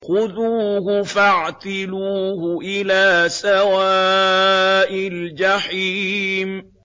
خُذُوهُ فَاعْتِلُوهُ إِلَىٰ سَوَاءِ الْجَحِيمِ